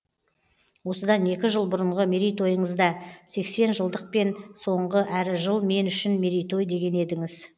осыдан екі жыл бұрынғы мерейтойыңызда сексен жылдықпен соңғы әрі жыл мен үшін мерейтой деген едіңіз